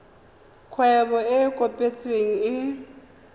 kgwebo e e kopetsweng e